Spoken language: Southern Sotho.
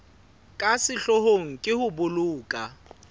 ka sehloohong ke ho boloka